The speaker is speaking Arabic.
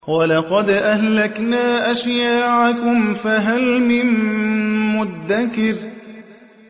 وَلَقَدْ أَهْلَكْنَا أَشْيَاعَكُمْ فَهَلْ مِن مُّدَّكِرٍ